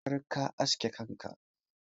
Ka tabbatar ka aske kanka!